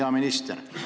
Hea minister!